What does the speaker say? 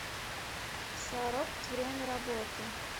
саропт время работы